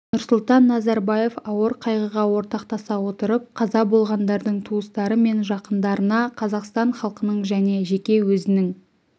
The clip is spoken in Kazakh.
нұрсұлтан назарбаев ауыр қайғыға ортақтаса отырып қаза болғандардың туыстары мен жақындарына қазақстан халқының және жеке өзінің